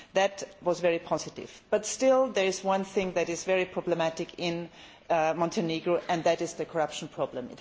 That was very positive, but still there is one thing that is very problematic in Montenegro and that is the corruption problem.